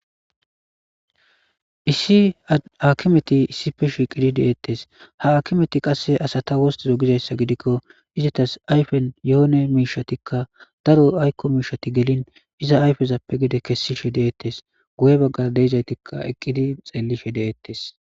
Issi hakimeti issippe shiqidi detees ha hakimeti qasika asata wostide giyaba gidiko izatas ayifen yone mishatika daro ayiko mishati gelin gede kesishe de'etes guye bagara diyagetika xelishe de'etes